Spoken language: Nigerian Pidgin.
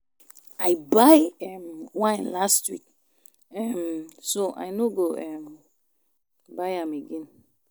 I buy um wine last week um so I no um go buy am again